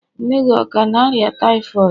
Nne gị ọ ka na-arịa typhoid?